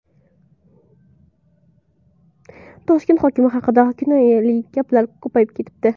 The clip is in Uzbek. Toshkent hokimi haqida kinoyali gaplar ko‘payib ketibdi.